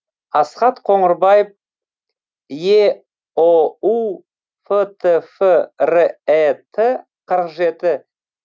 асхат қоңырбаев еұу фтф рэт қырық жеті